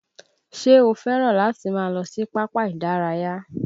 Ṣé o fẹ́ràn láti máa lọ sí pápá ìdárayá?